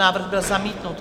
Návrh byl zamítnut.